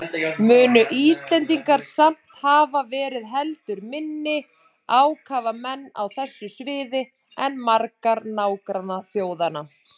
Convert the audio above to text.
Munu Íslendingar samt hafa verið heldur minni ákafamenn á þessu sviði en margar nágrannaþjóðanna.